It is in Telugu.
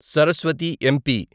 సరస్వతి ఎంపీ